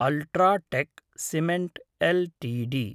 UltraTech cement LTD